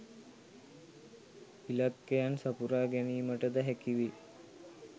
ඉලක්කයන් සපුරා ගැනීමටද හැකි වේ